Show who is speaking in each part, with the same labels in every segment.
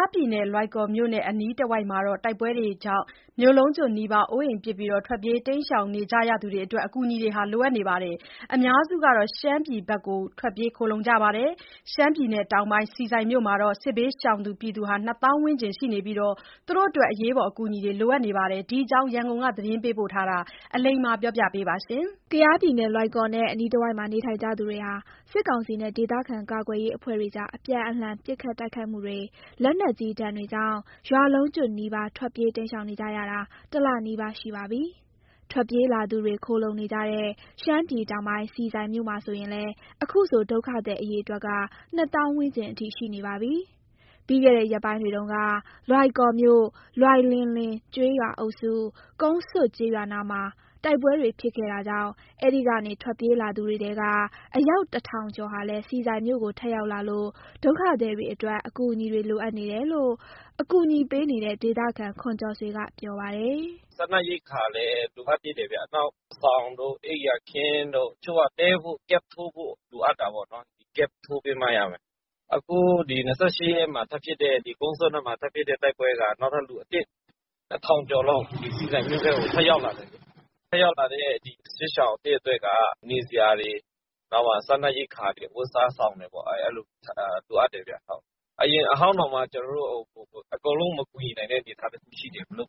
Speaker 1: ားပြည်နယ်၊ လွိုင်ကော်မြို့နဲ့အနီးတဝိုက်က တိုက်ပွဲတွေကြောင့် မြို့လုံးကျွတ်နီးပါး အိုးအိမ် ပစ် ထွက်ပြေးနေကြသူတွေအတွက် အကူအညီတွေ လိုအပ်နေပါတယ်။ အများစုက ရှမ်းပြည် ဘက်ကို ထွက်ပြေးခိုလှုံနေကြတာမှာ ရှမ်းပြည်တောင်ပိုင်း၊ ဆီဆိုင်မြို့မှာ စစ်ဘေးရှောင်သူ ၂ သောင်းဝန်းကျင်ရှိနေပြီး သူတို့တွေအတွက် အရေးပေါ်အကူအညီတွေ လိုအပ်နေတာပါ။ ဒီအကြောင်း ရန်ကုန်က သတင်းပေးပို့ထားတာကို အလိမ္မာက တင်ပြပေးထားပါတယ်။ ကယားပြည်နယ်၊ လွိုင်ကော်နဲ့ အနီးတဝိုက်မှာ နေထိုင်ကြသူတွေဟာ စစ်ကောင်စီနဲ့ ဒေသခံကာကွယ်ရေးအဖွဲ့တွေကြား အပြန်အလှန် ပစ်ခတ်တိုက်ခိုက်မှုတွေ၊ လက်နက်ကြီးဒဏ်တွေကြောင့် ရွာလုံးကျွတ်နီးပါး ထွက်ပြေးတိမ်းရှောင်နေကြရတာ တလနီးပါးရှိပါပြီ။ ထွက်ပြေးလာသူတွေ ခိုလှုံနေကြတဲ့ ရှမ်းပြည်တောင်ပိုင်း၊ ဆီဆိုင်မြို့မှာဆိုရင်လည်း ဒုက္ခသည်အရေအတွက်က ၂ သောင်းဝန်းကျင်အထိ ရှိနေပါပြီ။ ပြီးခဲ့တဲ့ ရက်ပိုင်းတွေတုန်းက လွိုင်ကော်မြို့၊ လွိုင်လင်လေကျေးရွာအုပ်စု၊ ကုန်းဆွတ်ကျေးရွာနားမှာ တိုက်ပွဲတွေဖြစ်ခဲ့တာကြောင့် အဲဒီကနေထွက်ပြေးလာသူတွေထဲက အယောက် ၁,၀၀၀ ကျော်ဟာလည်း ဆီဆိုင်မြို့ကို ထပ်ရောက်လာလို့ ဒုက္ခသည်တွေအတွက် အကူအညီတွေလိုအပ်နေတယ်လို့ ကူညီပေးနေတဲ့ ဒေသခံ ခွန်ကျော်ဆွေကပြောပါတယ်။
Speaker 2: "စားနပ်ရိက္ခာလည်း လိုအပ်သေးတယ်ဗျ။ နောက် စောင်တို့၊ အိပ်ယာခင်းတို့၊ တချို့က တည်းဖို့ camp ထိုးဖို့လိုအပ်တာပေါ့နော်။ အခု ၂၈ ရက်နေ့မှာ ကုန်းဆွတ်ဘက်မှာထပ်ဖြစ်တဲ့ တိုက်ပွဲကြောင့် နောက်ထပ် လူ ၁,၀၀၀ ကျော်လောက် ဆီဆိုင်မြို့ထဲကို ထပ်ရောက်လာတယ်။ ထပ်ရောက်လာတဲ့ စစ်ရှောင်အသစ်အတွက်က နေစရာတွေ၊ စားနပ်ရိက္ခာတွေ၊ အဝတ်အစား၊ စောင်တွေ လိုအပ်တယ်ဗျ။ အရင်အဟောင်းတွေကိုတောင်မှ ကျနော်တို့ အကုန်လုံးမကူညီနိုင်တဲ့ အနေအထားရှိတယ်ဗျ။ အသ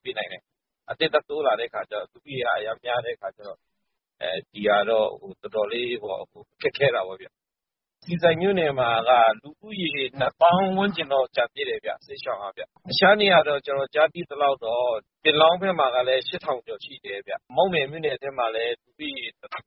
Speaker 2: စ်ထပ်တိုးလာတော့ လူဦးရေက အရမ်းများတဲ့အခါကျတော့ ဒီဟာတော့ တော်တော်လေးတော့ ခက်ခဲတာပေါ့ဗျ။ ဆီဆိုင်မြို့နယ်မှာက စစ်ရှောင်ဦးရေက ၂ သောင်းဝန်းကျင်တော့ ကျန်သေးတယ်ဗျ။ တခြားနေရာတွေမှာ ကျနော်ကြားသိသလောက်တော့ ပင်လောင်းဘက်မှာလည်း ၈,၀၀၀ ကျော်ရှိတယ်ဗျ။ မောက်မယ်မြို့နယ်ထဲမှာလည်း ၁,၀၀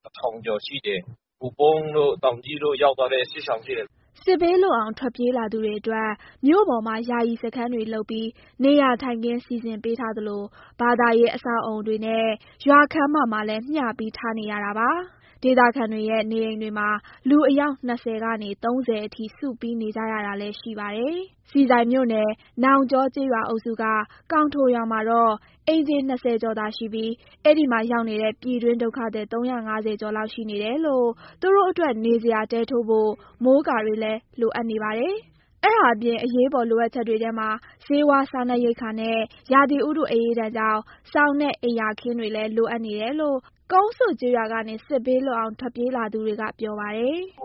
Speaker 2: ၀ ကျော်ရှိတယ်။ ဟိုပုန်းတို့၊ တောင်ကြီးတို့ဘက် ရောက်သွားတဲ့စစ်ရှောင်တွေရှိတယ်။"
Speaker 1: စစ်ဘေးလွတ်အောင် ထွက်ပြေးလာသူတွေအတွက် မြို့ပေါ်မှာ ယာယီစခန်းတွေလုပ်ပြီး နေရာထိုင်ခင်း စီစဉ်ပေးထားသလို ဘာသာရေးအဆောက်အအုံတွေနဲ့ ရွာခန်းမမှာလည်း မျှပြီးထားနေရတာပါ။ ဒေသခံတွေရဲ့ နေအိမ်တွေမှာ လူအယောက် ၂၀ ကနေ ၃၀ အထိ စုပြီးနေကြတာလည်း ရှိပါတယ်။ ဆီဆိုင်မြို့နယ်၊ နောင်ကျောကျေးရွာအုပ်စုက ကောင်ထိုရွာမှာတော့ အိမ်ခြေ ၂၀ ကျော်သာရှိပြီး အဲဒီမှာရောက်နေတဲ့ ပြည်တွင်းဒုက္ခသည် ၃၅၀ ကျော်လောက်ရှိနေလို့ သူတို့အတွက် နေစရာ တဲထိုးဖို့ မိုးကာတွေလည်း လိုအပ်နေပါတယ်။ အဲဒါအပြင် အရေးပေါ်လိုအပ်ချက်တွေထဲမှာ ဆေးဝါး၊ စားနပ်ရိက္ခာနဲ့ ရာသီဥတုအအေးဒဏ်ကြောင့် စောင်နဲ့ အိပ်ယာခင်းတွေလည်း လိုနေတယ်လို့ ကုန်းဆွတ်ရွာကနေ စစ်ဘေးလွတ်အောင် ပြေးလာသူတွေက ပြောပြပါတယ်
Speaker 2: ။ "သူ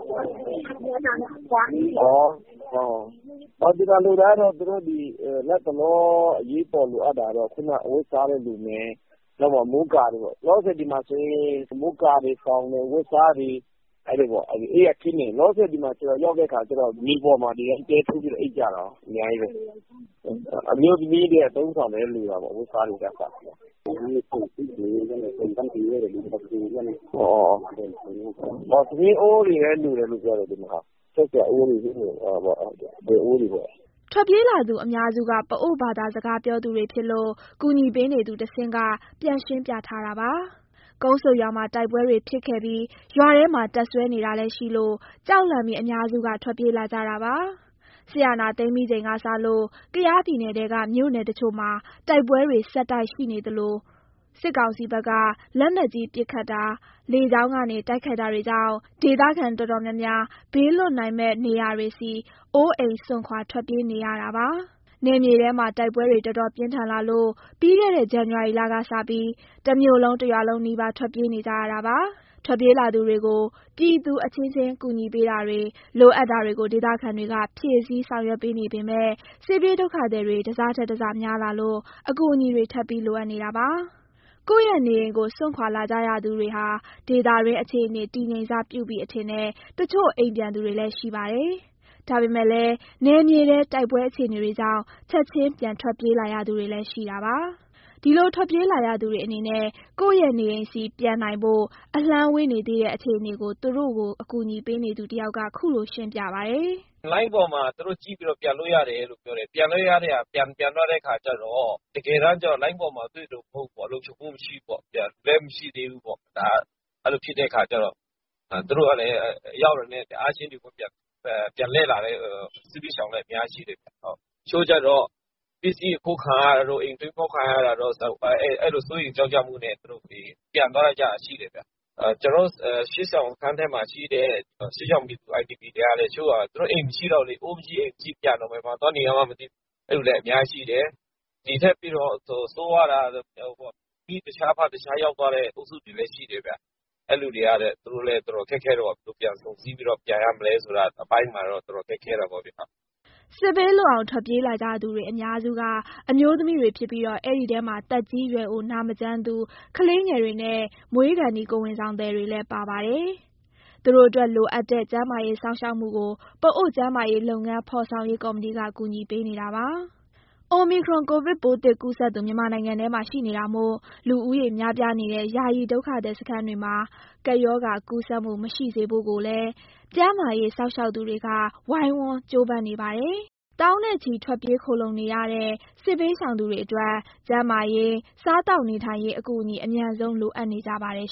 Speaker 2: တို့လတ်တလော အရေးပေါ် လိုအပ်တာကတော့ အဝတ်အစားတွေလိုမယ်၊ မိုးကာတွေရောပေါ့။ မိုးကာတွေ၊ စောင်တွေ၊ အဝတ်အစားတွေ၊ အိပ်ယာခင်းတွေပေါ့။ မြေပေါ်မှာ ဒီတိုင်းတဲထိုးပြီး အိပ်ကြရတာကို အများကြီးပဲ။ အမျိုးသမီးတွေရဲ့ အသုံးအဆောင်လည်း လိုတာပေါ့။ ထမင်းအိုးတွေလည်း လိုတယ်လို့ပြောတယ်ဗျ။ ချက်စရာအိုးတွေ၊ ဒယ်အိုးတွေပေါ့
Speaker 1: ။" ထွက်ပြေးလာသူအများစုက ပအိုဝ်းဘာသာစကားပြောသူတွေဖြစ်လို့ ကူညီပေးနေသူကတဆင့် ပြန်ရှင်းပြထားတာပါ။ ကုန်းဆွတ်ရွာမှာ တိုက်ပွဲတွေဖြစ်ခဲ့ပြီး ရွာထဲမှာ တပ်စွဲနေတာလည်းရှိလို့ ကြောက်လန့်ပြီး အများစုက ထွက်ပြေးလာကြတာပါ။ စစ်အာဏာသိမ်းပြီးချိန်ကစလို့ ကယားပြည်နယ်ထဲက မြို့နယ်တချို့မှာ တိုက်ပွဲတွေ ဆက်တိုက်ဆိုသလိုရှိနေပြီး စစ်ကောင်စီဘက်က လက်နက်ကြီးပစ်ခတ်တာ၊ လေကြောင်းကနေ တိုက်ခိုက်တာတွေကြောင့် ဒေသခံတော်တော်များများ ဘေးလွတ်နိုင်မယ့်နေရာတွေဆီ အိုးအိမ်စွန့်ခွာ ထွက်ပြေးနေရတာပါ။ နယ်မြေထဲမှာ တိုက်ပွဲတွေ တော်တော်ပြင်းထန်လာလို့ ပြီးခဲ့တဲ့ ဇန်နဝါရီလကစပြီး တမြို့လုံး၊ တရွာလုံးနီးပါး ထွက်ပြေးနေကြရတာပါ။ ထွက်ပြေးလာသူတွေကို ပြည်သူအချင်းချင်း ကူညီပေးတာတွေ၊ လိုအပ်တာတွေကို ဒေသခံတွေက ဖြည့်ဆည်းဆောင်ရွက်ပေးနေပေမယ့် စစ်ပြေးဒုက္ခသည်တွေ တစထက်တစများလာလို့ အကူအညီတွေ ထပ်ပြီး လိုအပ်နေတာပါ။ ကိုယ့်ရဲ့နေအိမ်ကို စွန့်ခွာလာကြရသူတွေဟာ ဒေသတွင်းအခြေအနေ တည်ငြိမ်စပြုပြီအထင်နဲ့ တချို့အိမ်ပြန်သွားသူတွေလည်း ရှိပါတယ်။ ဒါပေမယ့်လည်း နယ်မြေထဲ တိုက်ပွဲအခြေအနေတွေကြောင့် ချက်ချင်း ပြန်ထွက်ပြေးလာရသူတွေလည်း ရှိနေတာပါ။ ဒီလိုထွက်ပြေးလာရသူတွေအနေနဲ့ ကိုယ့်ရဲ့နေအိမ်ဆီ ပြန်နိုင်ဖို့ အလှမ်းဝေးနေသေးတဲ့ အခြေအနေကို သူတို့ကို ကူညီပေးနေသူတယောက်က ခုလိုရှင်းပြပါတယ်။
Speaker 2: "လိုင်းပေါ်မှာ သူတို့ကြည့်ပြီးတော့ ပြန်လို့ရတယ်လို့ပြောတယ်။ ပြန်သွားတဲ့အခါကျတော့ တကယ်တမ်းလိုင်းပေါ်မှာ တွေ့သလို လုံခြုံမှုမရှိဘူးပေါ့။ အဲလိုဖြစ်တဲ့အခါကျတော့ သူတို့ရောက်တာနဲ့ ချက်ချင်းပြန်လှည့်လာတဲ့ စစ်ဘေးရှောင်တွေလည်း အများကြီးရှိတယ်ဗျ။ တချို့ကျတော့ ပစ္စည်းအခိုးခံရတာတို့၊ အိမ်ဖောက်ခံရတာတို့ အဲလို စိုးရိမ်ကြောင့်ကြမှုနဲ့ ပြန်သွားကြတာ ရှိတယ်ဗျ။ ကျနော်တို့ စစ်ရှောင်စခန်းထဲမှာရှိတဲ့ စစ်ရှောင်ပြည်သူ IDP တွေကလည်း သူတို့အိမ်မရှိတော့ဘူးလေ။ အိုးမရှိ၊ အိမ်မရှိဖြစ်တော့ ပြန်တော့လည်း ဘယ်မှာသွားနေရမှန်း မသိဘူးဖြစ်နေသူတွေလည်း အများကြီးရှိတယ်။ ဒီထက်ပိုပြီး ဆိုးရွားတာက မိတခြား၊ ဖတခြားရောက်သွားတဲ့ အုပ်စုတွေလည်း ရှိတယ်ဗျ။ အဲလိုလူတွေကလည်း သူတို့ဘယ်လိုပြန်ဆုံစည်းပြီးတော့ အတူပြန်ရမလဲဆိုတာ အတော်ခက်ခဲတာပေါ့ဗျ။"
Speaker 1: စစ်ဘေးလွတ်အောင် ထွက်ပြေးလာကြသူ အများစုက အမျိုးသမီးတွေဖြစ်ပြီးတော့ အဲဒီထဲမှာ သက်ကြီးရွယ်အို၊ နာမကျန်းသူ၊ ကလေးငယ်တွေနဲ့ မွေးခါနီး ကိုယ်ဝန်ဆောင်တွေလည်း ပါဝင်ပါတယ်။ သူတို့အတွက် လိုအပ်တဲ့ ကျန်းမာရေးစောင့်ရှောက်မှုကို ပအိုဝ်း ကျန်းမာရေးလုပ်ငန်း ဖော်ဆောင်ရေးကော်မတီက ကူညီပေးနေပါတယ်။ အိုမီခရွန် ကိုဗစ်ပိုးသစ်ကူးစက်သူ မြန်မာနိုင်ငံထဲမှာ ရှိနေတာမို့ လူဦးရေများပြားနေတဲ့ ယာယီဒုက္ခသည်စခန်းတွေမှာ ကပ်ရောဂါကူးစက်မှု မရှိစေဖို့ကိုလည်း ကျန်းမာရေးစောင့်ရှောက်ပေးနေသူတွေက ဝိုင်းဝန်းကြိုးပမ်းနေကြပါတယ်။ သောင်းနဲ့ချီ ထွက်ပြေးခိုလှုံနေရတဲ့ စစ်ဘေးရှောင်သူတွေအတွက် ကျန်းမာရေး၊ စားသောက်နေထိုင်ရေး အကူအညီ အမြန်ဆုံး လိုအပ်နေ ကြပါတယ်